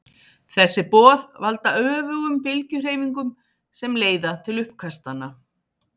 Þessi boð valda öfugum bylgjuhreyfingunum sem leiða til uppkastanna.